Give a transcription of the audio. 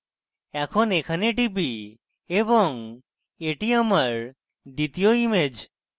এখন এখানে টিপি এবং এটি আমার দ্বিতীয় image